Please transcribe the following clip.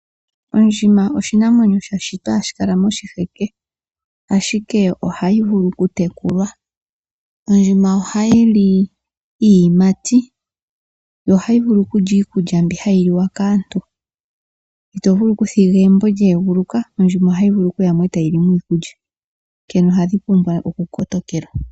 Ondjima oshinamwenyo sha shitwa hashi kala mo shiheke, ashike ohayi vulu oku tekulwa. Ondjima oha yili iiyimati, yo ohayi vulu okulya iikulya mbi hayi liwa kaantu, itovulu kuthiga egumbo lyee guluka ondjima ohayi vulu kuyamo eta yilimo iikulya. Onkene ohadhi pumbwa oku kotokelwa.